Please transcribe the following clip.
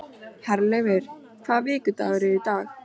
Herleifur, hvaða vikudagur er í dag?